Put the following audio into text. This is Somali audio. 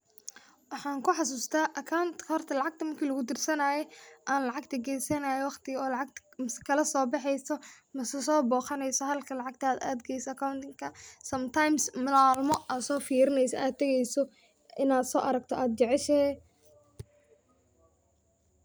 Waxan kuxasusta Acount akaunt horta marka lacagta lagu dirsanaayo an lacagta geysanayo masa kala sobaxeysa masa so boqaneysa halka lacagtada adheysay akauntinka Sometimes malmo ad firineysa ad tageeyso ina so aragta ad jeceshahay.